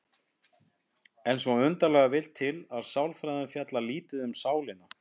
En svo undarlega vill til að sálfræðin fjallar lítið um sálina.